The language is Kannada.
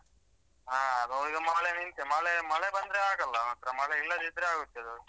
ಹಾ ಈಗ ಮಳೆ ನಿಂತ್ರೆ ಮಳೆ ಮಳೆ ಬಂದ್ರೆ ಆಗಲ್ಲ ಮಾತ್ರ ಮಳೆ ಇಲ್ಲದಿದ್ರೆ ಆಗುತ್ತೆ ಅದು.